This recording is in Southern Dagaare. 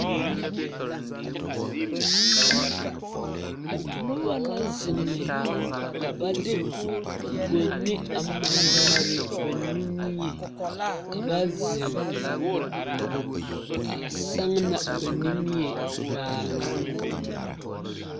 Noba la zeŋe ka ba de gonni a mare mare ba nimie ka ba zeŋ a saŋna ba nimie baaloŋ.